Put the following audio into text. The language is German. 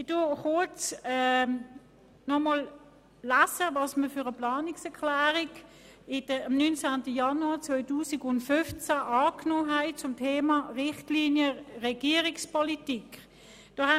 Ich lese kurz vor, welche Planungserklärung wir am 19. Januar 2015 zum Thema Richtlinien Regierungspolitik angenommen haben.